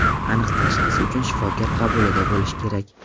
Aniq tashxis uchun shifokor qabulida bo‘lish kerak.